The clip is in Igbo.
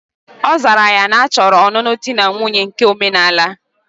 Ozara ya na achoro onunu di na nwunye nke omenala.